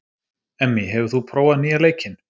Emmý, hefur þú prófað nýja leikinn?